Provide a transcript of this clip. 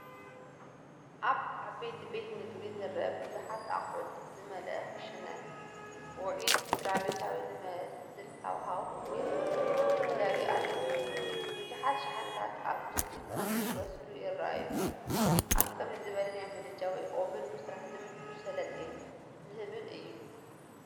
ኣብ ዓቢ ቤት ምግቢ ዝርአ ብዙሓት ኣቑሑት ዝመልአ ክሽነ፡ ውዑይን ስድራቤታዊ ዝመስልን ሃዋህው ሒዙ ተዳልዩ ኣሎ። ብዙሓት ሸሓኒታት ኣብ ድስቲ ኮፍ ክብሰሉ ይረኣዩ፣ ኣብ ከምዚ ዝበለ ናይ ምድጃ ወይ ኦብን ምስራሕ ዝምቹን ሰለጤን ዝህብን እዩ፡፡